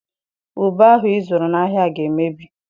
Ube ahụ ị zụrụ n'ahịa ga-emebi.